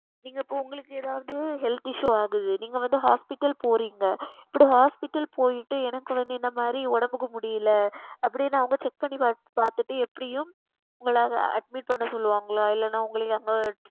நீங்கள் உங்களுக்கு இப்பொழுது எதாவது உங்களுக்கு வந்து Health Issue ஆகிறது நீங்கள் வந்து Hospital போகிறீர்கள் இப்படி Hospital சென்றுவிட்டு எனக்கு இந்த மாதிரி உடலுக்கு முடியவில்லை அப்படி என்று அவர்கள் Check செய்து பார்த்துவிட்டு எப்படியும் உங்களை Admit செய்ய சொல்லுவார்கள் அல்லவா இல்லை என்றால் உங்களை அவர்கள்